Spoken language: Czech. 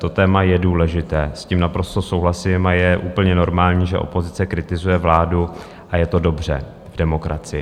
To téma je důležité, s tím naprosto souhlasím, a je úplně normální, že opozice kritizuje vládu, a je to dobře v demokracii.